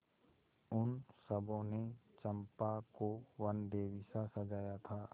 उन सबों ने चंपा को वनदेवीसा सजाया था